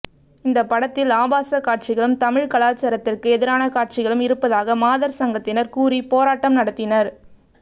இந்த படத்தில் ஆபாச காட்சிகளும் தமிழ் கலாச்சாரத்திற்கு எதிரான காட்சிகளும் இருப்பதாக மாதர் சங்கத்தினர் கூறி போராட்டம் நடத்தினர்